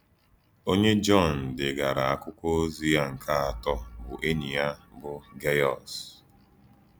Ònyé Jọn dègàrà àkwụ́kwọ̀ òzì yá nke àtọ̀ bụ́ ényí yá bụ́ Gèyọ́s.